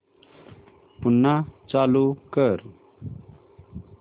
पुन्हा चालू कर